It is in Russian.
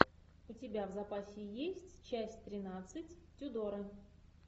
у тебя в запасе есть часть тринадцать тюдоры